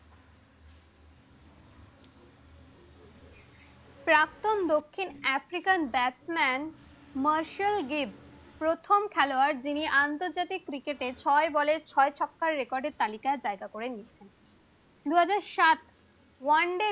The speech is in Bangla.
প্রাক্তন দক্ষিণ আফ্রিকান ব্যাটসম্যান মার্সেল গিফ প্রথম খেলোয়াড় যিনি আন্তর্জাতিক ক্রিকেটে ছয় বলে ছয় ছক্কার রেকর্ড এর তালিকায় জায়গা করে নিয়েছে দুই হাজার সাত ওয়ান ডে